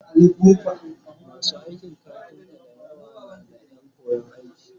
masu aikin kafinta da yawa na da Ƴan koyan aiki